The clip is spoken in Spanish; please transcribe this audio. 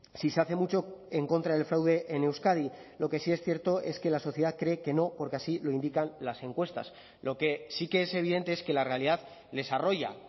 si se hace mucho en contra del fraude en euskadi lo que sí es cierto es que la sociedad cree que no porque así lo indican las encuestas lo que sí que es evidente es que la realidad les arroya